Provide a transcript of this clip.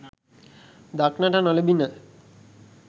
දක්නට නොලැබිණ.